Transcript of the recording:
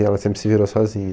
E ela sempre se virou sozinha.